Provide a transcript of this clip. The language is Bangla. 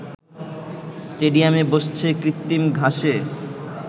স্টেডিয়ামে বসছে কৃত্রিম ঘাসে